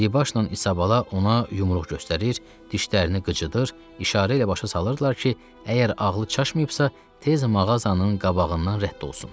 Diribaşla İsabala ona yumruq göstərir, dişlərini qıcıdır, işarə ilə başa salırdılar ki, əgər ağlı çaşmayıbsa, tez mağazanın qabağından rədd olsun.